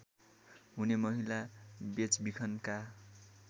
हुने महिला बेचबिखनका